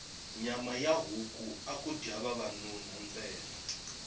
nyama ya huku aku dya vavanuna ntsena